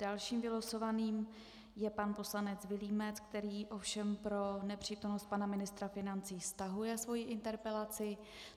Dalším vylosovaným je pan poslanec Vilímec, který ovšem pro nepřítomnost pana ministra financí stahuje svoji interpelaci.